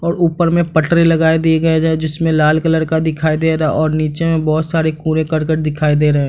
और ऊपर में पटरे लगाए दी गए है जिसमें लाल कलर का दिखाई दे रहा है और नीचे में बहुतसारा कूड़े-करकट दिखाई दे रहे हैं।